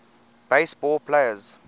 base ball players